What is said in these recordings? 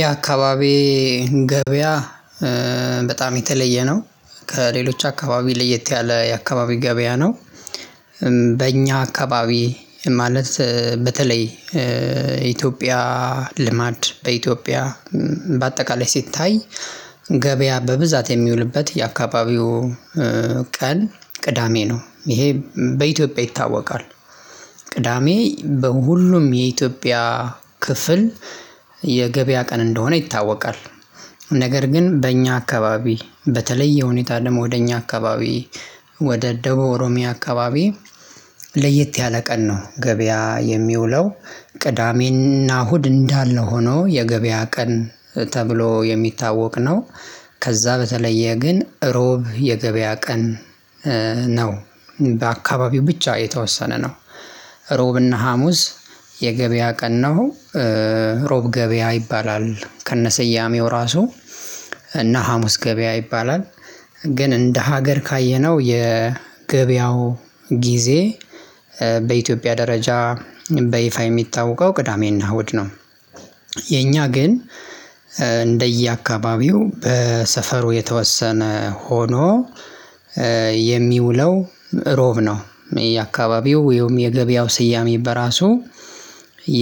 የአካባቢ ገበያ በጣም የተለየ ነው ከሌሎች አካባቢ ለየት ያለ የአካባቢ ገበያ ነው። በእኛ አካባቢ ማለት በተለይ ኢትዮጵያ ልማድ በኢትዮጵያ በአጠቃላይ ሲታይ ገበያ በብዛት የሚውልበት የአካባቢው ቀን ቅዳሜ ነው ይሄ በኢትዮጵያ ይታወቃል። ቅዳሜ በሁሉም የኢትዮጵያ ክፍል የገበያ ቀን እንደሆነ ይታወቃል። ነገር ግን በእኛ አካባቢ በተለየ ሁኔታ ደሞ ወደ እኛ አካባቢ ወደ ደቡብ ኦሮሚያ አካባቢ ለየት ያለ ቀን ነው ገበያ የሚውለው። ቅዳሜና እሁድ እንዳለ ሆኖ የገበያ ቀን ተብሎ የሚታወቅ ነው። ከዛ በተለየ ግን ሮብ የገበያ ቀን ነው በአካባቢው ብቻ የተወሰነ ነው። ሮብና ሀሙስ የገበያ ቀን ነው። ሮብ ገበያ ይባላል ከነ ስያሜው ራሱ እና ሀሙስ ገበያ ይባላል። ግን እንደ ሀገር ካየነው የገበያው ጊዜ በኢትዮጵያ ደረጃ በይፋ የሚታወቀው ቅዳሜና እሁድ ነው። የእኛ ግን እንደየአካባቢው በሰፈሩ የተወሰነ ሆኖ የሚውለው ሮብ ነው። የአካባቢው ወይም የገበያው ስያሜ በራሱ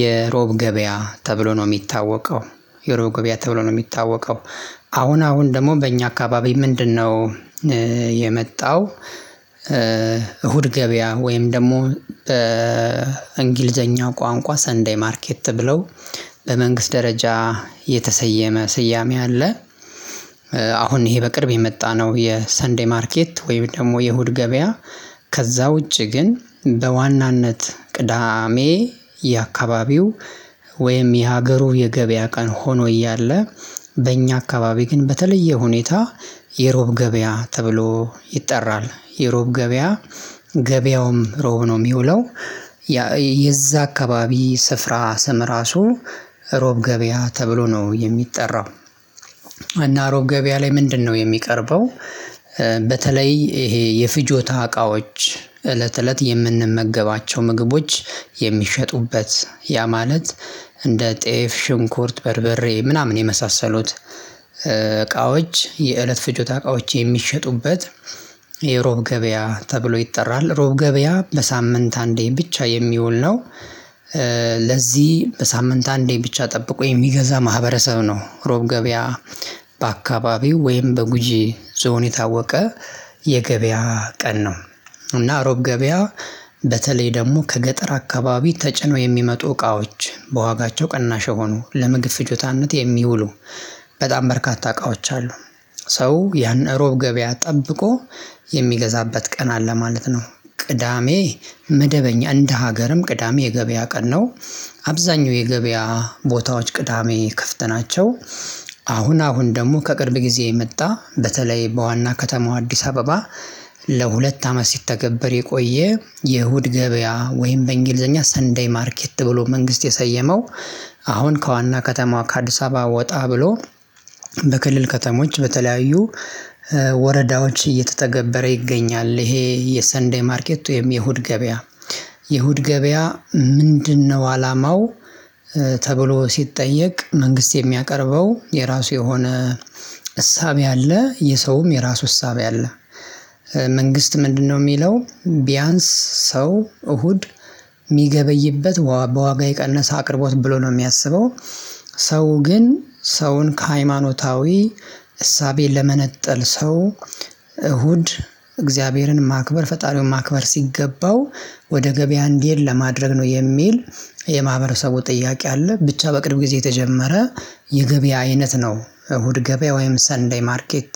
የሮብ ገበያ ተብሎ ነው እሚታወቀው። የሮብ ገቢያ ተብሎ ነው እሚታወቀው። አሁን አሁን ደሞ በእኛ አካባቢ ምንድነው? የመጣው እሁድ ገበያ ወይም ደሞ በእንግሊዝኛ ቋንቋ ሰንዴይ ማርኬት ተብለው በመንግስት ደረጃ የተሰየመ ስያሜ አለ። አሁን ይሄ በቅርብ የመጣ ነው የሰንዴይ ማርኬት ወይም ደሞ የእሁድ ገበያ። ከዛ ውጪ ግን በዋናነት ቅዳሜ የአካባቢው ወይም የሀገሩ የገበያ ቀን ሆኖ እያለ በእኛ አካባቢ ግን በተለየ ሁኔታ የሮብ ገበያ ተብሎ ይጠራል የሮብ ገበያ። ገበያውም ሮብ ነው እሚውለው። የዛ አካባቢ ስፍራ ስም ራሱ ሮብ ገበያ ተብሎ ነው የሚጠራው። እና ሮብ ገበያ ላይ ምንድነው የሚቀርበው? በተለይ ይሄ የፍጆታ እቃዎች እለት እለት የምንመገባቸው ምግቦች የሚሸጡበት ያ ማለት እንደ ጤፍ ሽንኩርት በርብሬ ምናምን የመሳሰሉት እቃዎች የእለት ፍጆታ እቃዎች የሚሸጡበት። የሮብ ገበያ ተብሎ ይጠራል ሮብ ገበያ በሳምንት አንዴ ብቻ የሚውል ነው። ለዚህ በሳምንት አንዴ ብቻ ጠብቆ የሚገዛ ማህበረሰብ ነው ሮብ ገበያ በአካባቢው ወይም በጉጂ ዞን የታወቀ የገበያ ቀን ነው። እና ሮብ ገበያ በተለይ ደሞ ከገጠር አካባቢ ተጭነው የሚመጡ እቃዎች በዋጋቸው ቅናሽ የሆኑ ለምግብ ፍጆታነት የሚውሉ በጣም በርካታ እቃዎች አሉ። ሰው ያን እሮብ ገበያ ጠብቆ የሚገዛበት ቀን አለ ማለት ነው። ቅዳሜ መደበኛ እንደ ሀገርም ቅዳሜ የገበያ ቀን ነው። አብዛኛው የገበያ ቦታዎች ቅዳሜ ከፍት ናቸው። አሁን አሁን ደሞ ከቅርብ ጊዜ የመጣ በተለይ በዋና ከተማው አዲስ አበባ ለሁለት አመት ሲተገበር የቆየ የእሁድ ገበያ ወይም በእንግሊዝኛ ሰን ዴይ ማርኬት ብሎ መንግስት የሰየመው አሁን ከዋና ከተማዋ ከአዲስ አበባ ወጣ ብሎ በክልል ከተሞች በተለያዩ ወረዳዎች እየተተገበረ ይገኛል። ይሄ የሰን ዴይ ማርኬት ወይም የእሁድ ገበያ የሁድ ገበያ ምንድነው? አላማው ተብሎ ሲጠየቅ መንግስት የሚያቀርበው የራሱ የሆነ እሳቤ አለ የሰውም የራሱ እሳቤ አለ። መንግስት ምንድነው እሚለው ቢያንስ ሰው እሁድ እሚገበይበት በዋጋ የቀነሰ አቅርቦት ብሎ ነው እሚያስበው። ሰው ግን ሰውን ከሃይማኖታዊ እሳቤ ለመነጠል ሰው እሁድ እግዚአብሔርን ማክበር ፈጣሪውን ማክበር ሲገባው ወደ ገበያ እንድሄድ ለማድረግ ነው የሚል የማህበረሰቡ ጥያቄ አለ። ብቻ በቅርብ ጊዜ የተጀመረ የገበያ አይነት ነው እሁድ ገበያ ወይም ሰን ዴይ ማርኬት።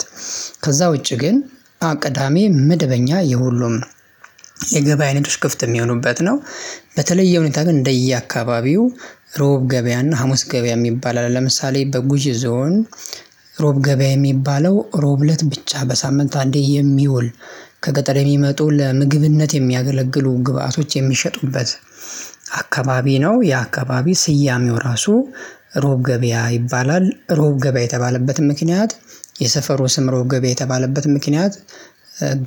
ከዛ ውጪ ግን ቅዳሜ መደበኛ የሁሉም ነው። የገበያ ንግዶች ክፍት እሚሆኑበት ነው። በተለየ ሁኔታ ግን እንደየአካባቢው ረቡዕ ገበያ እና ሀሙስ ገበያ እሚባል አለ። ለምሳሌ በጉጂ ዞን ረቡዕ ገበያ የሚባለው ረቡዕ እለት ብቻ በሳምንት አንዴ የሚውል ከገጠር የሚመጡ ለምግብነት የሚያገለግሉ ግብአቶች የሚሸጡበት። አካባቢ ነው። የአካባቢ ስያሜው ራሱ ሮብ ገበያ ይባላል ሮብ ገበያ የተባለበትም ምክንያት የሰፈሩ ስም ሮብ ገበያ የተባለበት ምክንያት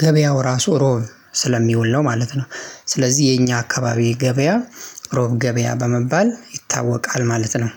ገበያው ራሱ ሮብ ስለሚውል ነው ማለት ነው። ስለዚህ የኛ አካባቢ ገበያ ሮብ ገበያ በመባል ይታወቃል ማለት ነው።